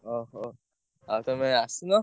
ଅହୋ! ଆଉ ତମେ ଆସୁନ।